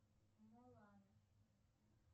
мулан